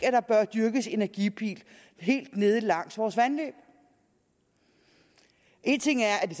at der bør dyrkes energipil helt nede langs vores vandløb en ting er at det